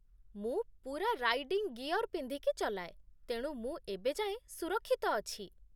ମୁଁ ପୂରା riding gear ପିନ୍ଧିକି ଚଲାଏ, ତେଣୁ ମୁଁ ଏବେ ଯାଏଁ ସୁରକ୍ଷିତ ଅଛି ।